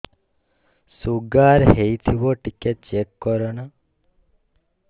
sugar ହେଇଥିବ ଟିକେ check କର ନା